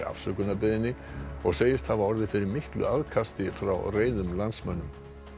afsökunarbeiðni og segist hafa orðið fyrir miklu aðkasti frá reiðum landsmönnum